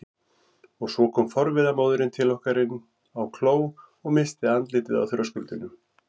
Og svo kom forviða móðirin til okkar inn á kló og missti andlitið á þröskuldinum.